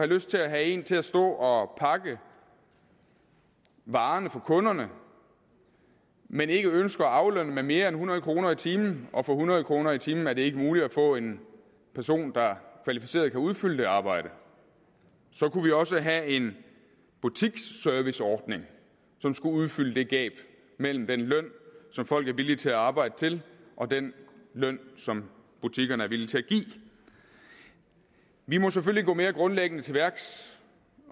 lyst til at have en til at stå og pakke varerne for kunderne men ikke ønsker at aflønne med mere end hundrede kroner i timen og for hundrede kroner i timen er det ikke muligt at få en person der kvalificeret kan udfylde det arbejde så kunne vi også have en butiksserviceordning som skulle udfylde gabet mellem den løn som folk er villige til at arbejde til og den løn som butikkerne er villige til at give vi må selvfølgelig gå mere grundlæggende til værks